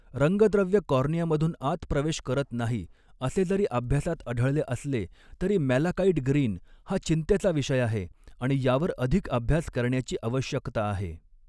रंगद्रव्य कॉर्नियामधून आत प्रवेश करत नाही असे जरी अभ्यासात आढळले असले, तरी मॅलाकाइट ग्रीन हा चिंतेचा विषय आहे आणि यावर अधिक अभ्यास करण्याची आवश्यकता आहे.